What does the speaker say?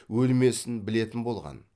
өлмесін білетін болған